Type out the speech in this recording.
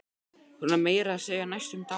Hún var meira að segja næstum dáin.